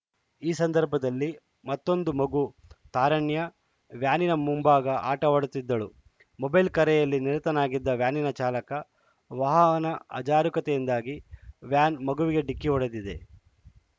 ಈ ಸಂದರ್ಭದಲ್ಲಿ ಮತ್ತೊಂದು ಮಗು ತಾರಣ್ಯ ವ್ಯಾನಿನ ಮುಂಭಾಗ ಆಟವಾಡುತ್ತಿದ್ದಳು ಮೊಬೈಲ್‌ ಕರೆಯಲ್ಲಿ ನಿರತನಾಗಿದ್ದ ವ್ಯಾನಿನ ಚಾಲಕ ವಾಹನ ಅಜಾರೂಕತೆಯಿಂದಾಗಿ ವ್ಯಾನ್‌ ಮಗುವಿಗೆ ಡಿಕ್ಕಿ ಹೊಡೆದಿದೆ